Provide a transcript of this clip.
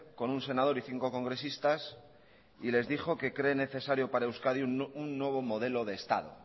con un senador y cinco congresistas y les dijo que cree necesario para euskadi un nuevo modelo de estado